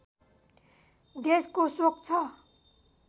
देशको शोक छ